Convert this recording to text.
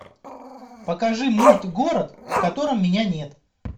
покажи мульт город в котором меня нет